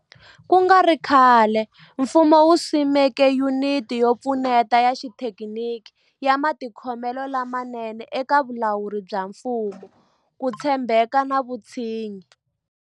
Ku nga ri khale, mfumo wu simeke Yuniti yo Pfuneta ya Xithekiniki ya Matikhomelo lamanene eka Vulawuri bya Mfumo, Ku tshembeka na Vutshinyi.